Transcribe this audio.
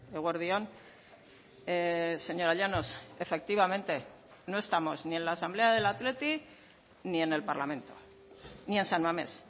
eguerdi on señora llanos efectivamente no estamos ni en la asamblea del athletic ni en el parlamento ni en san mamés